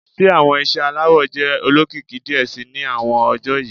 Ṣe awọn iṣẹ alawọ jẹ olokiki diẹ sii ni awọn ọjọ yii